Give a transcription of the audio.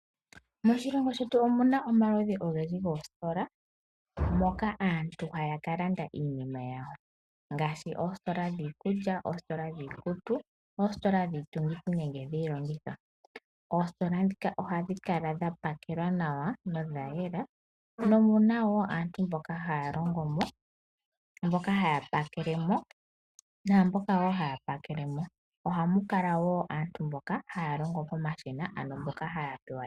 Moshilongo shetu omuna omaludhi ogendji goostola moka aantu haya kalanda iinima yawo ngaashi oostola dhiikulya, dhiikutu, oostola dhiitungithi nenge dhiilongitho . Oostola ndhika ohadhi kala dha pakelwa nawa nodha yela nomuna woo aantu mboka haya longo mo , mboka haya pakele mo. Ohamu kala woo aantu mboka haya longo pomashina ano mboka haya pewa iinima.